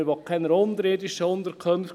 Man will keine unterirdischen Unterkünfte.